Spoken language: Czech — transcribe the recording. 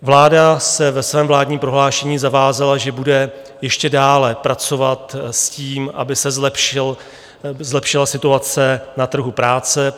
Vláda se ve svém vládním prohlášení zavázala, že bude ještě dále pracovat s tím, aby se zlepšila situace na trhu práce.